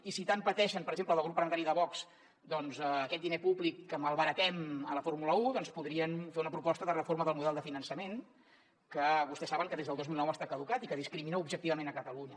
i si tant pateixen per exemple en el grup parlamentari de vox per aquest diner públic que malbaratem a la fórmula un podrien fer una proposta de reforma del model de finançament que vostès saben que des del dos mil nou està caducat i que discrimina objectivament catalunya